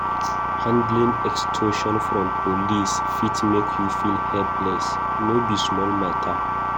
Handling extortion from police fit make you feel helpless; no be small matter.